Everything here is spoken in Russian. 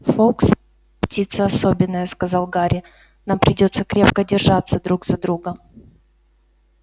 фоукс птица особенная сказал гарри нам придётся крепко держаться друг за друга